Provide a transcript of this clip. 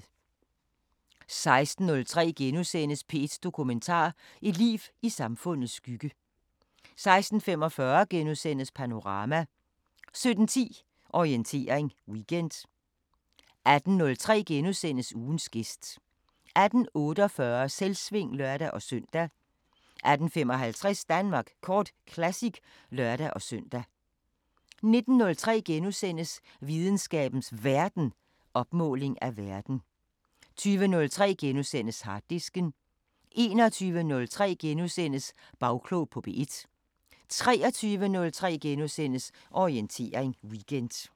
16:03: P1 Dokumentar: Et liv i samfundets skygge * 16:45: Panorama * 17:10: Orientering Weekend 18:03: Ugens gæst * 18:48: Selvsving (lør-søn) 18:55: Danmark Kort Classic (lør-søn) 19:03: Videnskabens Verden: Opmåling af verden * 20:03: Harddisken * 21:03: Bagklog på P1 * 23:03: Orientering Weekend *